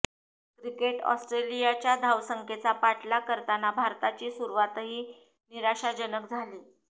cricket ऑस्ट्रेलियाच्या धावसंख्येचा पाठलाग करताना भारताची सुरुवातही निराशाजनक झाली